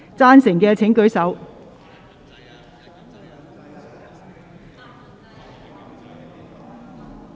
贊成的請舉手......